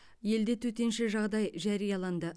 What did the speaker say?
елде төтенше жағдай жарияланды